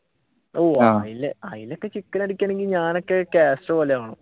ഓഹ് അതിനൊക്കെ ചിക്കൻ അടിക്കണെങ്കി ഞാനൊക്കെ കാസ്‌ട്രോ പോലെ ആകണം.